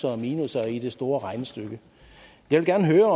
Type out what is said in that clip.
og minusser i det store regnestykke jeg vil gerne høre